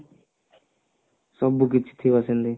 ସବୁ କିଛି ଥିବ ସେଥିରେ